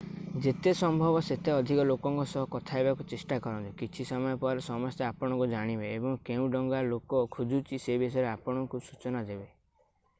ଯେତେ ସମ୍ଭବ ସେତେ ଅଧିକ ଲୋକଙ୍କ ସହ କଥା ହେବାକୁ ଚେଷ୍ଟା କରନ୍ତୁ କିଛି ସମୟ ପରେ ସମସ୍ତେ ଆପଣଙ୍କୁ ଜାଣିବେ ଓ କେଉଁ ଡଙ୍ଗା ଲୋକ ଖୋଜୁଛି ସେ ବିଷୟରେ ଆପଣଙ୍କୁ ସୂଚନା ଦେବେ